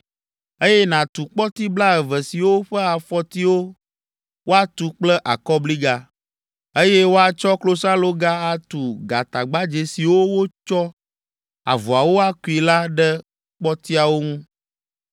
eye nàtu kpɔti blaeve siwo ƒe afɔtiwo woatu kple akɔbliga, eye woatsɔ klosaloga atu gatagbadzɛ siwo woatsɔ avɔawo akui la ɖe kpɔtiawo ŋu.